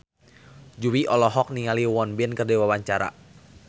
Jui olohok ningali Won Bin keur diwawancara